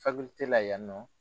la yan nɔ